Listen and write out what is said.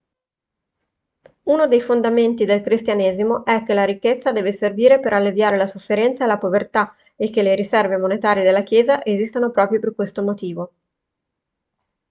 uno dei fondamenti del cristianesimo è che la ricchezza deve servire per alleviare la sofferenza e la povertà e che le riserve monetarie della chiesa esistano proprio per questo motivo